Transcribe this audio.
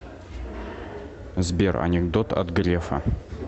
сбер анекдот от грефа